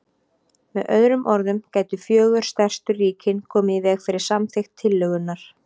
Með öðrum orðum gætu fjögur stærstu ríkin komið í veg fyrir samþykkt tillögunnar.